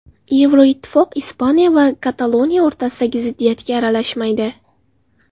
Yevroittifoq Ispaniya va Kataloniya o‘rtasidagi ziddiyatga aralashmaydi.